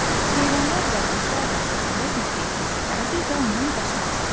Heyvanlar və quşlar da əvəzində Bilqeyisi sevərdi və ondan qaçmazdılar.